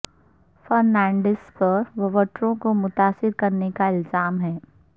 فرنانڈیز پر ووٹروں کو متاثر کرنے کا الزام ہے